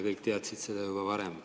Kõik teadsid seda juba varem.